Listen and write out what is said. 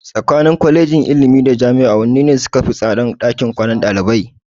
Tsakanin Kwalejin ilimi da Jami'a wanne ne sukafi tsadan ɗakin kwanan ɗalibai?